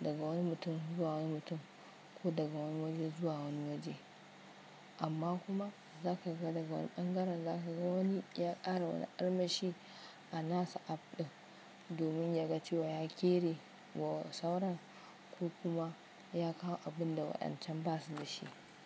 daga wani mutum zuwa wani mutum ko daga wani waje zuwa wani waje. Amma kuma za ka ga daga wani ɓangaren za ka ga wani ya ƙara wani armashi a nasa app ɗin domin ya ga cewa ya ƙere wa sauransu ko kuma ya kawo abun da waɗan can ba su da shi.